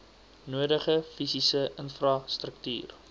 nodige fisiese infrastruktuur